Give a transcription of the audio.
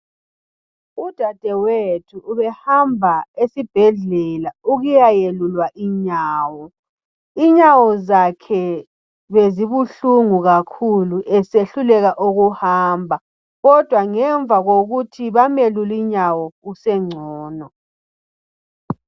Udadewethu ubehamba esibhedlela ukuya yelulwa inyawo. Inyawo zakhe bezibuhlungu kakhulu esehluleka ukuhamba, kodwa ngemva kokuthi bamelule inyawo usengcono.